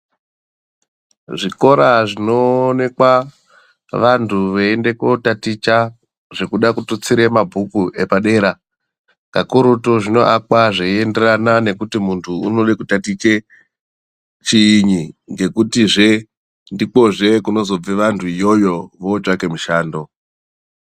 Zvikora zvinoonekwa vantu veinda ko taticha zvekuda kututsira mabhuku epadera pakurutu zvinoakwa zveenderana nekuti muntu unoda kutaticha chiini ngekuti zve ndiko zve kunozobva vantu vaone mushando.